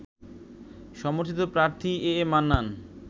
সমর্থিত প্রার্থী A A Mannan